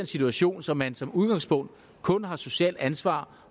situation så man som udgangspunkt kun har socialt ansvar